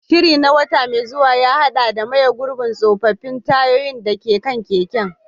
Shirin na wata mai zuwa ya haɗa da maye gurbin tsofaffin tayoyin da ke kan keken.